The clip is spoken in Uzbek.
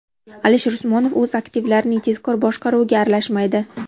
Alisher Usmonov o‘z aktivlarining tezkor boshqaruviga aralashmaydi.